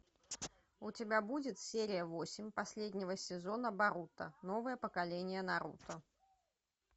у тебя будет серия восемь последнего сезона боруто новое поколение наруто